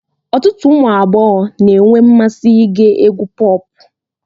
Ọtụtụ ụmụ agbọghọ na-enwe mmasị ige egwú pọp